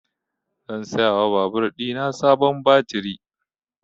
Zan saya wa babur ɗina sabon baturi